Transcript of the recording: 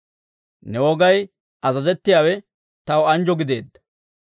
Ne wogaw azazettiyaawe taw anjjo gideedda.